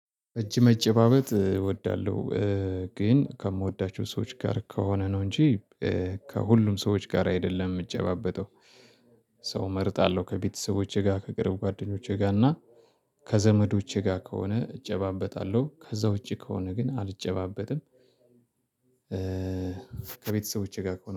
እጅ መጨባበጥ እወዳለሁ ግን ከምወዳቸው ሰዎች ጋር ከሆነ ነው እንጂ ከሁሉም ሰዎች ጋር አይደለም የምጨባበጠው። ሰው እመርጣለሁ ከቤተሰቦቼ ጋር ከቅርብ ጓደኞቼ ጋር እና ከዘመዶቼ ጋር ከሆነ እጨባበጣለሁ ከዛ ውጪ ከሆነ ግን አልጨባበጥም። ከቤተሰቦቼ ጋር